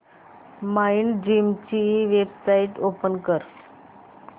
Mindgym ची website open कर